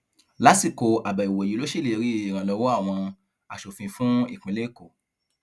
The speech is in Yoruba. lásìkò àbẹwò yìí ló ṣèlérí ìrànlọwọ àwọn asòfin fún ìpínlẹ èkó